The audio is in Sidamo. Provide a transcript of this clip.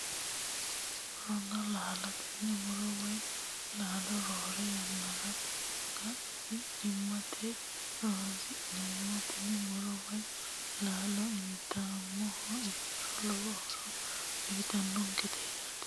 Muronna laalo tenne muro woyi laalo roore yannara sagalimmate horonsi'neemmo tini muro woyi laalo intummoha ikkiro lowo horo uyitannonkete yaate